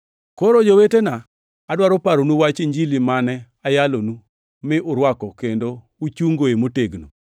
Koro jowetena, adwaro paronu wach Injili mane ayalonu, mi urwako kendo koro uchungoe motegno.